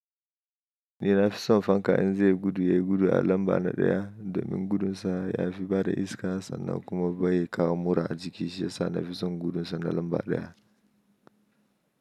Ni na fi son fanka in zai yi gudu, ya yi gudu a lamba na ɗaya. Domin gudunsa ya fi bada iska sannan kuma bai kawo mura a jiki shiyasa na fi son gudunsa na lamba ɗaya.